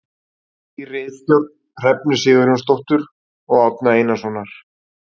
Í ritstjórn Hrefnu Sigurjónsdóttur og Árna Einarssonar.